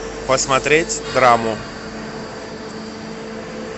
посмотреть драму